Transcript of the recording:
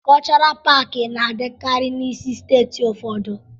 Kọlchọral paakị na-adịkarị n'isi steeti ụfọdụ.